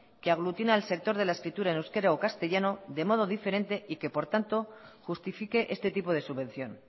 que aglutine al sector de la escritura en euskera o en castellano de modo diferente y que por tanto justifique este tipo de subvención